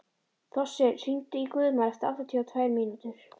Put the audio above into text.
Þossi, hringdu í Guðmar eftir áttatíu og tvær mínútur.